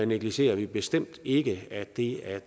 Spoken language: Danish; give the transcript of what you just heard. negligerer vi bestemt ikke at det at